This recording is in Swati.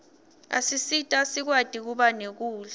asisita sikwati kuba nekudla